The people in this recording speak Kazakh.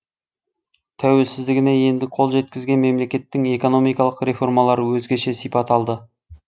тәуелсіздігіне енді қол жеткізген мемлекеттің экономикалық реформалары өзгеше сипат алды